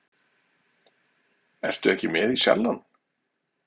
Ertu ekki með í Sjallann?